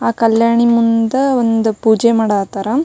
ಆ ಕಲ್ಯಾಣಿ ಮುಂದ ಒಂದು ಪೂಜೆ ಮಾಡತಾರ.